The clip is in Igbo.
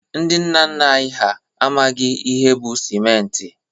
Ndị nna nna anyi ha amaghi ihe bụ sịmenti.